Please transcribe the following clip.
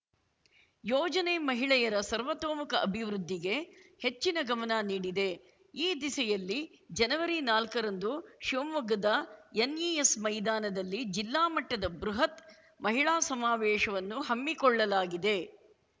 ಯೋಜನೆ ಮಹಿಳೆಯರ ಸರ್ವತೋಮುಖ ಅಭಿವೃದ್ಧಿಗೆ ಹೆಚ್ಚಿನ ಗಮನ ನೀಡಿದೆ ಈ ದಿಸೆಯಲ್ಲಿ ಜನವರಿನಾಲ್ಕರಂದು ಶಿವಮೊಗ್ಗದ ಎನ್‌ಇಎಸ್‌ ಮೈದಾನದಲ್ಲಿ ಜಿಲ್ಲಾ ಮಟ್ಟದ ಬೃಹತ್‌ ಮಹಿಳಾ ಸಮಾವೇಶವನ್ನು ಹಮ್ಮಿಕೊಳ್ಳಲಾಗಿದೆ